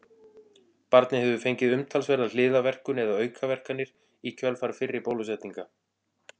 Barnið hefur fengið umtalsverða hliðarverkun eða aukaverkanir í kjölfar fyrri bólusetninga.